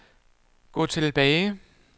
gå tilbage